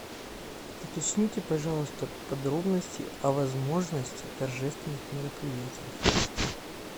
уточните пожалуйста подробности о возможности торжественных мероприятий